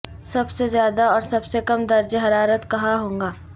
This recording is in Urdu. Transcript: سب سے زیادہ اور سب سے کم درجہ حرارت کہاں ہوگا